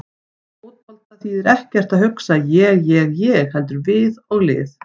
Í fótbolta þýðir ekkert að hugsa ég- ég- ég heldur við og lið.